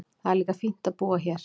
Það er líka fínt að búa hér.